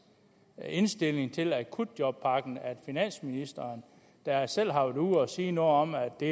indstilling til akutjobpakken at finansministeren der selv har været ude og sige noget om at det